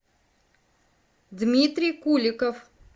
дмитрий куликов